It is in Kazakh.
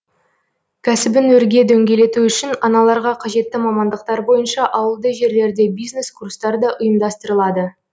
кәсібін өрге дөңгелету үшін аналарға қажетті мамандықтар бойынша ауылды жерлерде бизнес курстар да ұйымдастырылады